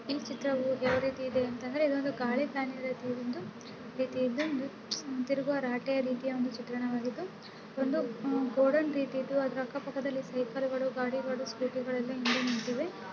ಈ ಚಿತ್ರವೂ ಯಾವ ರೀತಿ ಇದೆ ಅಂತಂದ್ರೆ ಇದು ಒಂದು ಗಾಳಿ ಫ್ಯಾನ್ ರೀತಿ ಒಂದು ರೀತಿಯಿದ್ದು ಒಂದು ತಿರುಗುವ ರಾಟೆ ರೀತಿಯ ಒಂದು ಚಿತ್ರಣವಾಗಿದ್ದು ಒಂದು ಆಹ್ ಗೌಡೌನ್ ರೀತಿಯಿದ್ದು ಅದರ ಅಕ್ಕ-ಪಕ್ಕದಲ್ಲಿ ಸೈಕಲಗಳು ಗಾಡಿಗಳು ಸ್ಕೂಟಿಗಳು ಎಲ್ಲಾ ಹಿಂದೆ ನಿಂತಿವೆ.